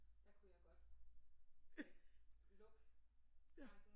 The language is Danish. Der kunne jeg godt øh lukke tanken